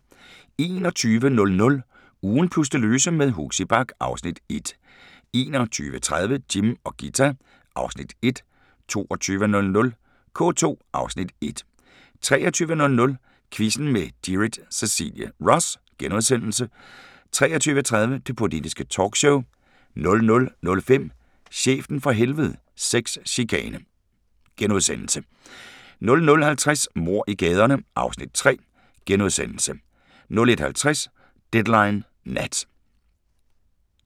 21:00: Ugen plus det løse med Huxi Bach (Afs. 1) 21:30: Jim og Ghita (Afs. 1) 22:00: K2 (Afs. 1) 23:00: Quizzen med Gyrith Cecilie Ross * 23:30: Det Politiske Talkshow 00:05: Chefen fra Helvede - Sexchikane * 00:50: Mord i gaderne (Afs. 3)* 01:50: Deadline Nat